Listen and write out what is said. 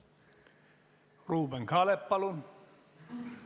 Ruuben Kaalep, palun!